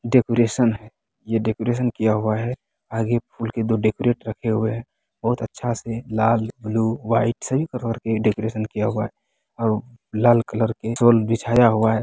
Decoration है decoration किया हुआ है आगे फुल के दो डेकोरेट रखा हुआ हैं बहुत अच्छा से लाल ब्लू व्हाइट से भी डेकोरेट किया हुआ है और लाल कलर के रोल बिछाया हुआ है।